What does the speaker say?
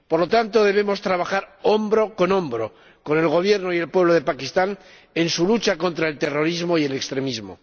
Por lo tanto, debemos trabajar hombro con hombro con el Gobierno y el pueblo de Pakistán en su lucha contra el terrorismo y el extremismo.